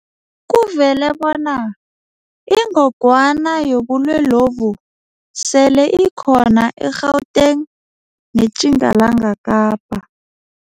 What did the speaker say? Kuvele bona iNgogwana yobulwelobu sele ikhona e-Gauteng neTjingalanga Kapa.